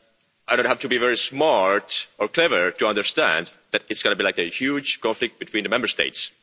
I don't have to be very smart or clever to understand that it's going to be like a huge conflict between the Member States.